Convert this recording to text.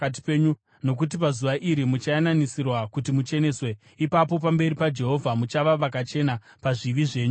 nokuti pazuva iri muchayananisirwa, kuti mucheneswe. Ipapo, pamberi paJehovha muchava vakachena pazvivi zvenyu zvose.